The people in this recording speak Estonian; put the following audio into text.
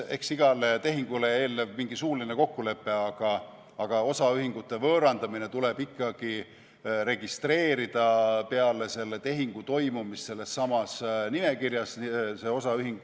Eks igale tehingule eelneb mingi suuline kokkulepe, aga osaühingute võõrandamine tuleb ikkagi registreerida peale selle tehingu toimumist sellessamas nimekirjas.